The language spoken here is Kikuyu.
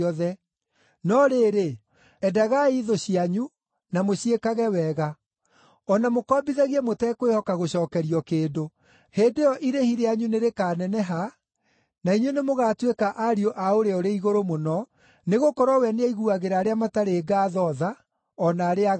No rĩrĩ, endagai thũ cianyu, na mũciĩkage wega, o na mũkombithagie mũtekwĩhoka gũcookerio kĩndũ. Hĩndĩ ĩyo irĩhi rĩanyu nĩrĩkaneneha, na inyuĩ nĩmũgatuĩka ariũ a Ũrĩa-ũrĩ-Igũrũ-Mũno, nĩgũkorwo we nĩaiguagĩra arĩa matarĩ ngaatho tha o na arĩa aaganu.